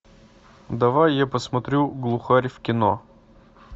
давай я посмотрю глухарь в кино